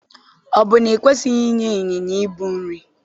Ọ bụ na i kwesịghị inye ịnyịnya ibu nri?